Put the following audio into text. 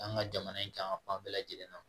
An ka jamana in kan fan bɛɛ lajɛlen na